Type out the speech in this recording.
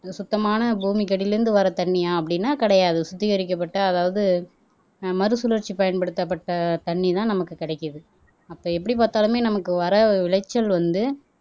சுத்தமான பூமிக்கு அடியில இருந்து வர்ற தண்ணியா அப்படின்னா கிடையாது சுத்திகரிக்கப்பட்ட அதாவது அஹ் மறுசுழற்சி பயன்படுத்தப்பட்ட தண்ணி தான் நமக்கு கிடைக்குது அப்ப எப்படி பார்த்தாலுமே நமக்கு வர விளைச்சல் வந்து